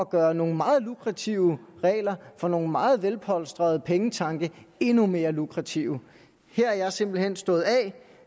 gør nogle meget lukrative regler for nogle meget velpolstrede pengetanke endnu mere lukrative her er jeg simpelt hen stået